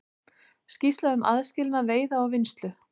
Skýrsla um aðskilnað veiða og vinnslu